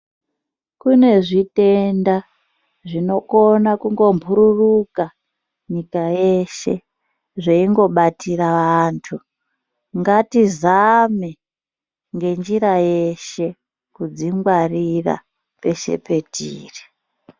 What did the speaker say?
Kune zvitenda zvinokona kungo mbururuka nyika yeshe zveingobatira antu ngatizame ngenjira yeshe kudzingwarira peshe patiri.